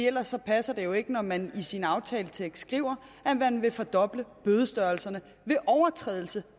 ellers passer det jo ikke når man i sin aftaletekst skriver at man vil fordoble bødestørrelserne ved overtrædelse